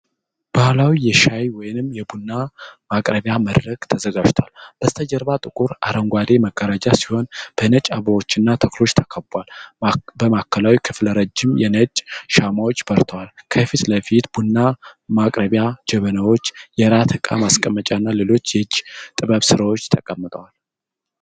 ባህላዊ የሻይ ወይም የቡና ማቅረቢያ መድረክ ተዘጋጅቷል። በስተጀርባ ጥቁር አረንጓዴ መጋረጃ ሲሆን በነጭ አበባዎች እና ተክሎች ተከቧል። በማዕከላዊው ክፍል ረዥም የነጭ ሻማዎች በርተዋል። ከፊት ለፊት ቡና ማቅረቢያ ጀበናዎች፣ የራት እቃ ማስቀመጫ እና ሌሎች የእጅ ጥበብ ስራዎች ተቀምጠዋል።